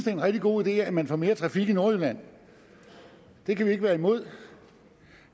er en rigtig god idé at man får mere trafik i nordjylland det kan vi ikke være imod